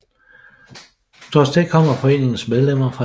Trods det kommer foreningens medlemmer fra hele landet